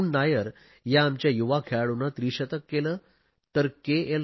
करुण नायर या आमच्या युवा खेळाडूने त्रिशतक केले तर के